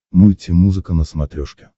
мульти музыка на смотрешке